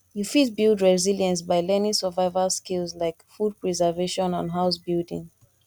you fit build resilience by learning survival skills like food preservation and house building